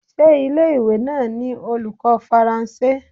Ṣé ilé ìwé náà ni olùkọ́ Faransé?